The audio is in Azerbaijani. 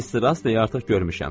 Mister Astey artıq görmüşəm.